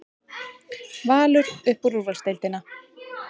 Valur upp í úrvalsdeildina